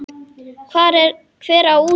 Hver á út?